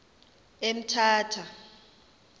emthatha